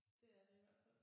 Det er det i hvert fald